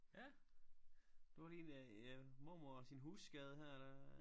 Ja du har lige en mormor og sin husskade her der